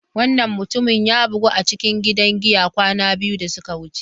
Wannan mutumin ya bugu a cikin gidan giya kwana biyu da suka wuce.